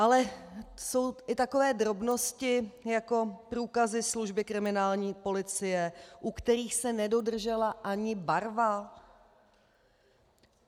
Ale jsou i takové drobnosti jako průkazy služby kriminální policie, u kterých se nedodržela ani barva.